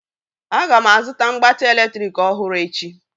Aga m azụta mgbatị eletrik ọhụrụ echi